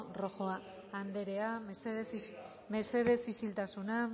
rojo anderea mesedez isiltasuna